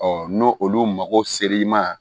n'o olu mako ser'i ma